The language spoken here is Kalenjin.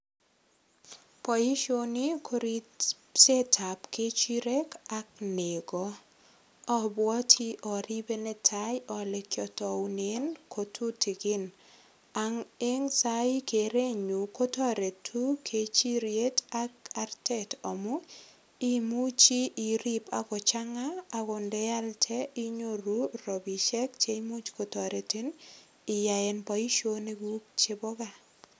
Boisioni ko ripsetab kechirek ak nego. Abwoti aribe netai ale kiataunen kotutikin. Eng sai kerechun kotoretu kechiriet ak artet amu imuchi irip agochanga agot ndealde inyoru rapisiek chemuch kotoretin iyaenboisionikuk chebo kaa.